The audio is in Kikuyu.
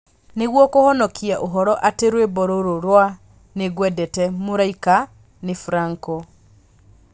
Nĩguo kũhonokia ũhoro atĩ rwĩmbo rũrũ rwa ni ngwendete mũraika nĩ Franco